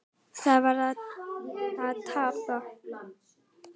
Það var að tapa.